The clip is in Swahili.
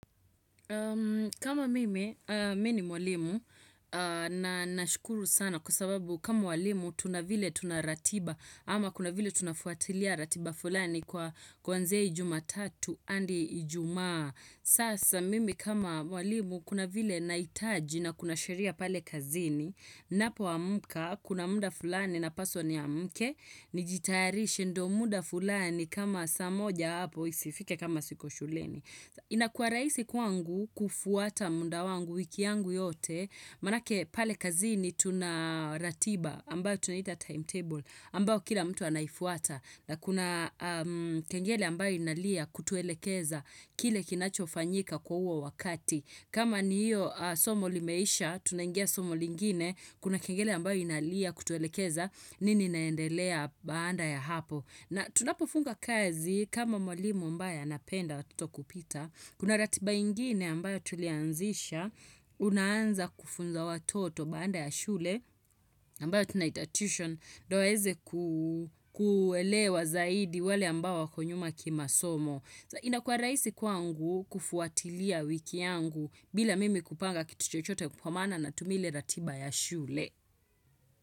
Kama mimi, mimi ni mwalimu na nashukuru sana kwa sababu kama mwalimu tuna vile tuna ratiba ama kuna vile tunafuatilia ratiba fulani kwa kuanzia jumatatu hadi ijumaa. Sasa mimi kama mwalimu kuna vile nahitaji na kuna sheria pale kazini, napoamka kuna muda fulani napaswa niamke, nijitayarishe ndo muda fulani kama saa moja hapo isifike kama siko shuleni. Inakua rahisi kwangu kufuata muda wangu wiki yangu yote, maanake pale kazini tuna ratiba ambayo tunaita timetable ambayo kila mtu anaifuata na kuna kengele ambayo inalia kutuelekeza kile kinachofanyika kwa huo wakati. Kama ni hiyo somo limeisha, tunangia somo lingine, kuna kengele ambayo inalia kutuelekeza nini inaendelea baada ya hapo. Na tunapofunga kazi kama mwalimo ambaye anapenda watoto kupita, kuna ratiba ingine ambayo tulianzisha, unaanza kufunza watoto baada ya shule ambayo tunaita tuition, ndo waweze kuelewa zaidi wale ambao wako nyuma kimasomo. Inakua rahisi kwangu kufuatilia wiki yangu bila mimi kupanga kitu chochote kwa maana natumia ile ratiba ya shule.